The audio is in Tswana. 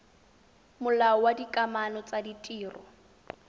molao wa dikamano tsa ditiro